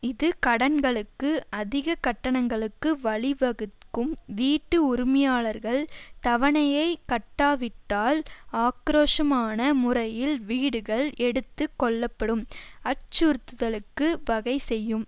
இது கடன்களுக்கு அதிக கட்டணங்களுக்கு வழிவகுக்கும் வீட்டு உரிமையாளர்கள் தவணையை கட்டாவிட்டால் ஆக்கிரோஷமான முறையில் வீடுகள் எடுத்து கொள்ளப்படும் அச்சுறுத்துதலுக்கு வகை செய்யும்